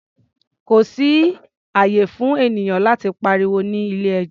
Kò sí ààyè fún ènìyàn láti pariwo ní ilé-ẹjọ́.